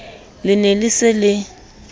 le ne le se le